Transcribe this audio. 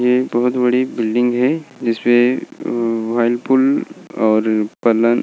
बहुत बड़ी बिल्डिंग है जिसमें और --